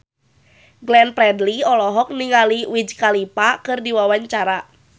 Glenn Fredly olohok ningali Wiz Khalifa keur diwawancara